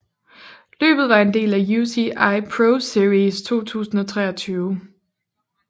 Løbet var en del af UCI ProSeries 2023